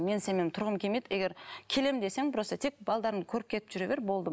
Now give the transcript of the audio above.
мен сенімен тұрғым келмейді егер келемін десең просто тек балдарыңды көріп кетіп жүре бер болды